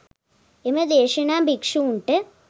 එම දේශනා භික්‍ෂූන්ට